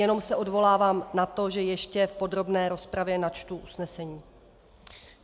Jenom se odvolávám na to, že ještě v podrobné rozpravě načtu usnesení.